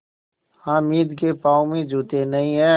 हामिद के पाँव में जूते नहीं हैं